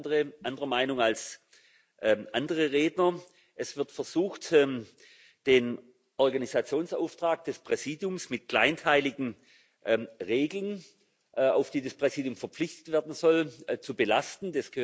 Ich bin da anderer Meinung als andere Redner. Es wird versucht, den Organisationsauftrag des Präsidiums mit kleinteiligen Regelungen, auf die das Präsidium verpflichtet werden soll, zu belasten.